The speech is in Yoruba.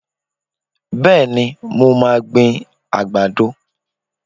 Bẹ́ẹ̀ni, mo máa gbin àgbàdo.